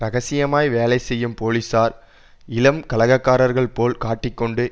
இரகசியமாய் வேலை செய்யும் போலீசார் இளம் கலகக்காரர்கள் போல் காட்டி கொண்டு